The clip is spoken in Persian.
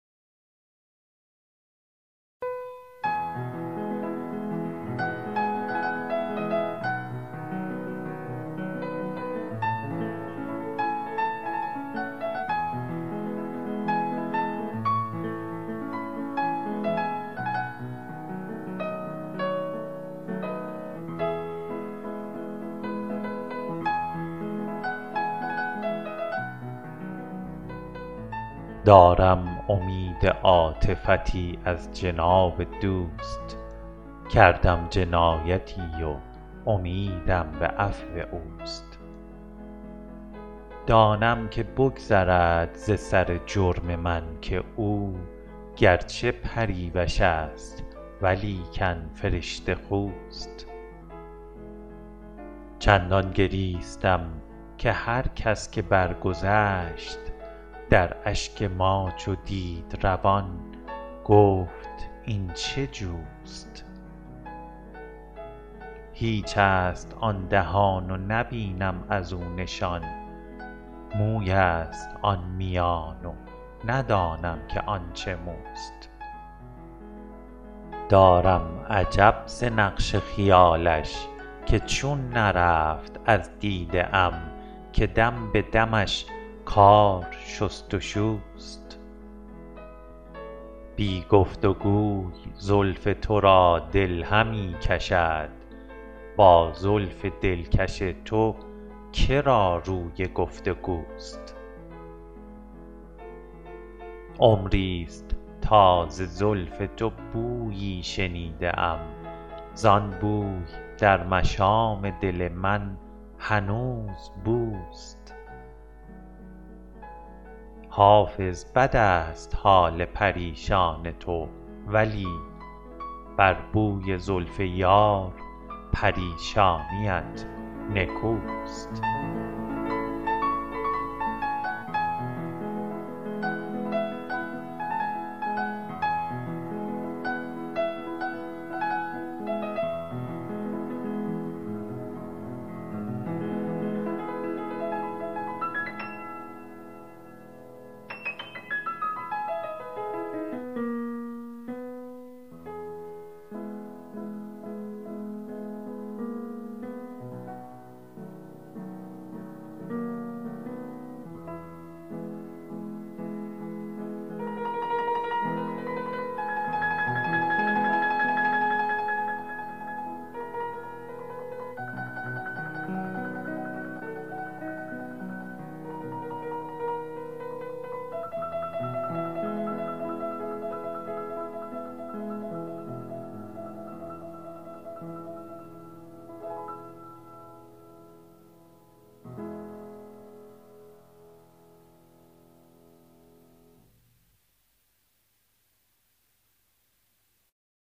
دارم امید عاطفتی از جناب دوست کردم جنایتی و امیدم به عفو اوست دانم که بگذرد ز سر جرم من که او گر چه پریوش است ولیکن فرشته خوست چندان گریستیم که هر کس که برگذشت در اشک ما چو دید روان گفت کاین چه جوست هیچ است آن دهان و نبینم از او نشان موی است آن میان و ندانم که آن چه موست دارم عجب ز نقش خیالش که چون نرفت از دیده ام که دم به دمش کار شست و شوست بی گفت و گوی زلف تو دل را همی کشد با زلف دلکش تو که را روی گفت و گوست عمری ست تا ز زلف تو بویی شنیده ام زان بوی در مشام دل من هنوز بوست حافظ بد است حال پریشان تو ولی بر بوی زلف یار پریشانیت نکوست